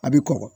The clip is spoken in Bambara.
A bɛ kɔkɔ